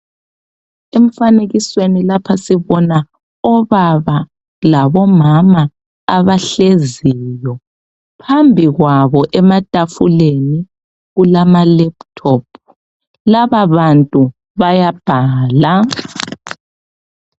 Emfanekisweni lapha sibona obaba labomama abahleziyo phambi kwabo ematafuleni kulama laptop laba bantu bayabhala